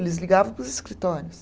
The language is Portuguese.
Eles ligavam para os escritórios.